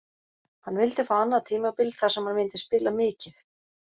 Hann vildi fá annað tímabil þar sem hann myndi spila mikið.